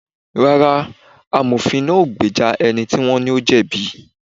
Rárá, Amofin náà ò gbéjà ẹni tí wón ní ó jẹ̀bi